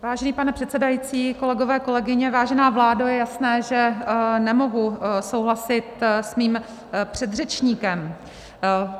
Vážený pane předsedající, kolegové, kolegyně, vážená vládo, je jasné, že nemohu souhlasit s mým předřečníkem.